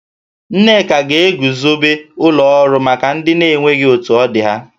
Nneka ga-eguzobe ụlọ ọrụ maka ndị na-enweghi otu ọdị ha